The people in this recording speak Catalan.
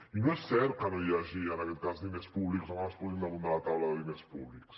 i no és cert que no hi hagi en aquest cas diners públics o no es posin damunt de la taula diners públics